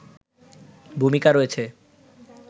ভূমিকা রয়েছে